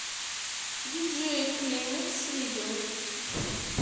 диджей климекс видео